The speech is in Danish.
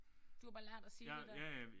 Du har bare lært at sige det der?